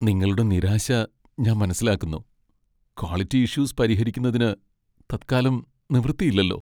നിങ്ങളുടെ നിരാശ ഞാൻ മനസ്സിലാക്കുന്നു, ക്വാളിറ്റി ഇഷ്യൂസ് പരിഹരിക്കുന്നതിന് തത്കാലം നിവൃത്തിയില്ലല്ലോ.